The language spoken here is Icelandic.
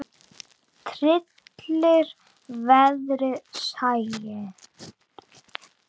Tryllir veðrið sæinn.